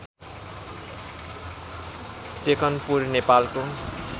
टेकनपुर नेपालको